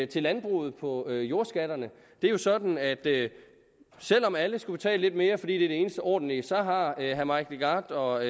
til landbruget på jordskatterne det er sådan at selv om alle skulle betale lidt mere fordi det er det eneste ordentlige så har herre mike legarth og